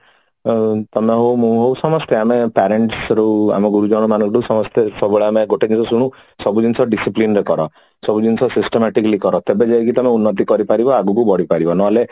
ଉଁ ତମେ ହଉ ମୁଁ ହଉ ସମସ୍ତେ ଆମେ parents ବି ଆମ ଗୁରୁଜନ ମାନେ ବି ସମସ୍ତେ ଆମେ ସବୁବେଳେ ଆମେ ଗୋଟେ ଜିନିଷ ଶୁଣୁ ସବୁ ଜିନିଷ discipline ରେ କାଢ ସବୁ ଜିନିଷ systematic ରେ କର ତେବେ ଯାଇକି ତମେ ଉନ୍ନତି କରିପାରିବ ଆଗକୁ ବଢି ପଡ଼ିବ ନହେଲେ